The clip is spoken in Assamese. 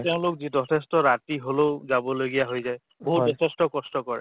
বা তেওঁলোক যথেষ্ট ৰাতি হলেও যাবলগীয়া হৈ যায় বহুত যথেষ্ট কষ্ট কৰে